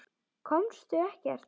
Komust ekkert.